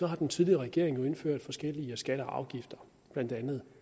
har den tidligere regering indført forskellige skatter og afgifter blandt andet